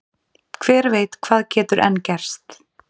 Hver veit hvað getur enn gerst?